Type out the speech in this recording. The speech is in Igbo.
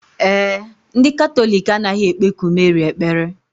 Ee e, ndị Katọlik anaghị ekpeku Meri ekpere.